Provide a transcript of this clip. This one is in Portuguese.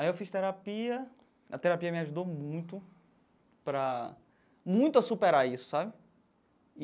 Aí eu fiz terapia, a terapia me ajudou muito para muito a superar isso, sabe?